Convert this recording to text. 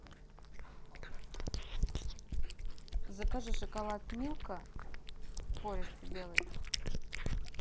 закажи шоколад милка пористый белый